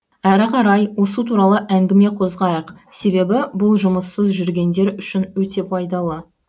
әрі қарай осы туралы әңгіме қозғайық себебі бұл жұмыссыз жүргендер үшін өте пайдалы